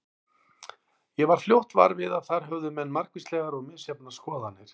Ég varð fljótt var við að þar höfðu menn margvíslegar og misjafnar skoðanir.